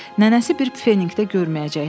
Nənəsi bir pfeniqdə görməyəcəkdi.